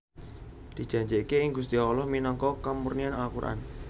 Dijanjikake ing Gusti Allah minangka kamurnian Al Quran